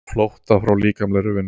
Flótta frá líkamlegri vinnu.